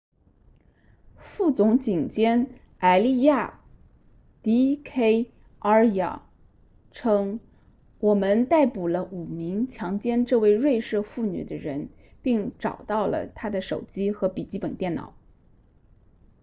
副总警监埃利亚 d k arya 称我们逮捕了5名强奸这位瑞士妇女的人并找到了她的手机和笔记本电脑